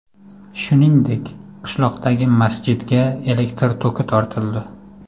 Shuningdek, qishloqdagi masjidga elektr toki tortildi.